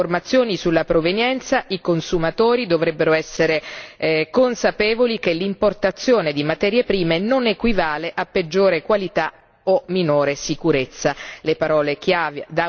Insieme a maggiori informazioni sulla provenienza, i consumatori dovrebbero essere consapevoli che l'importazione di materie prime non equivale a peggiore qualità o minore sicurezza.